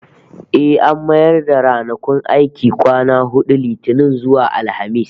Eh, an mayar da ranakun aiki kwana hudu, Litinin zuwa Alhamis